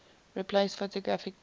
replaced photographic plates